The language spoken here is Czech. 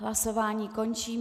Hlasování končím.